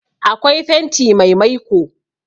Akwai fenti mai maiko